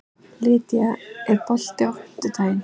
Lýdía, er bolti á fimmtudaginn?